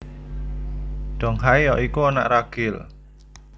Donghae ya iku anak ragil